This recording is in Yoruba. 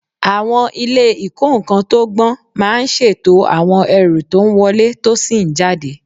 Àwọn ilé ìkó-nǹkan tó gbọ́n máa ń ṣètò àwọn ẹrù tó ń wọlé tó sì ń jáde.